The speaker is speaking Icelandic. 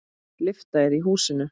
Lyfta er í húsinu.